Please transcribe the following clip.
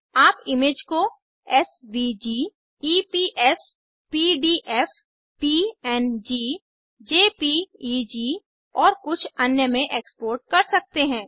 आप इमेज को SVG EPS PDF PNG JPEG और कुछ अन्य में एक्सपोर्ट कर सकते हैं